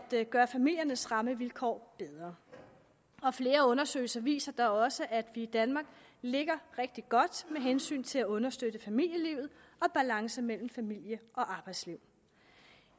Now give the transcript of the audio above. gøre familiernes rammevilkår bedre og flere undersøgelser viser da også at vi i danmark ligger rigtig godt med hensyn til at understøtte familielivet og balance mellem familie og arbejdsliv